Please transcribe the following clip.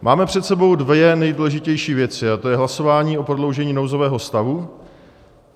Máme před sebou dvě nejdůležitější věci, a to je hlasování o prodloužení nouzového stavu.